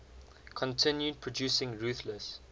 continued producing ruthless